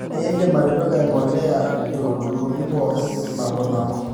iindim atipika empolea iululuni pooki nabonabo